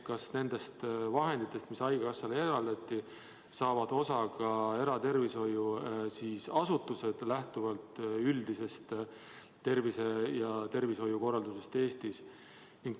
Kas nendest vahenditest, mis haigekassale eraldati, saavad osa ka eratervishoiuasutused, lähtuvalt üldisest tervishoiukorraldusest Eestis?